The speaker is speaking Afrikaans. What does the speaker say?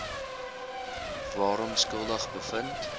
waaraan skuldig bevind